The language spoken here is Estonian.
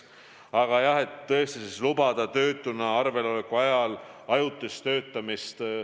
Aga jah, tõesti on plaan lubada töötuna arveloleku ajal ajutist töötamist.